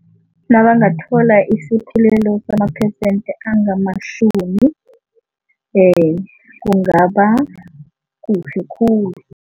Nabangathola isaphulelo samaphesente angamashumi kungaba kuhle khulu.